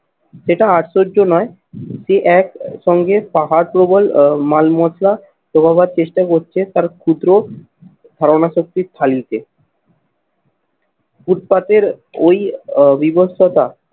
সেটা আশ্চর্য নয় যে একসঙ্গে পাহাড় প্রবল আহ মালমশলা যোগাবার চেষ্টা করছে তার ক্ষুদ্র ধারণা শক্তির খালিতে। ফুটপাতের ওই আহ বিবস্ত্রতা